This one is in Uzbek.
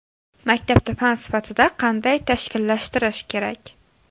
Maktabda fan sifatida qanday tashkillashtirish kerak?